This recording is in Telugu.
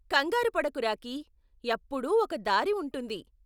కంగారు పడకు రాకీ, ఎప్పుడూ ఒక దారి ఉంటుంది.